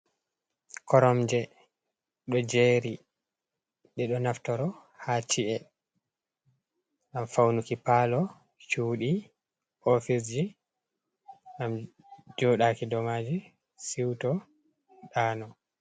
Korom je do jeri de do naftoro ha chie ,gam faunuki palo cudi oficeji gam jodaki domaji siuto ɗano.